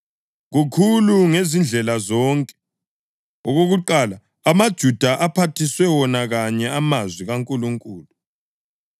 Kukhulu ngezindlela zonke. Okokuqala amaJuda aphathiswe wona kanye amazwi kaNkulunkulu.